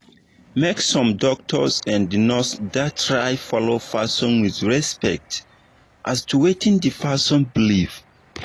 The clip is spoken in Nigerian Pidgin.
make sum doctors and nurse da try follow person with respect as to wetin d person believe